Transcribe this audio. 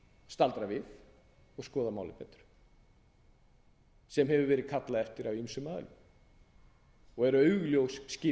staldra við og skoða málið betur sem hefur verið kallað eftir af ýmsum aðilum og er augljós